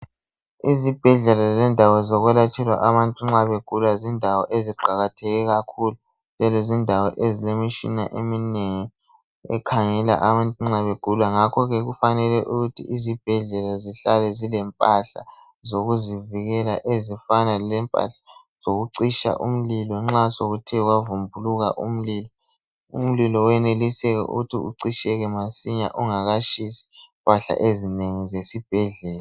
Izibhedlela lendawo zokwelatshelwa abantu nxa begula zindawo eziqakatheke kakhulu njalo zindawo ezilemitshina eminengi ekhangela abantu nxa begula ngakhoke kufanele ukuthi izibhedlela zihlale zilempahla zokuzivikela ezifana lempahla zokucitsha umlilo nxa sekuthe kwavumbuluka umlilo .Umlilo weneliseka ukuthi ucitsheke masinya ungatshisi impahla ezinengi zesibhedlela.